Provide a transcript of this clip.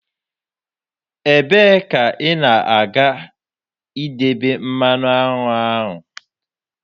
Ebee ka ị na ga-idebe mmanụ aṅụ ahụ?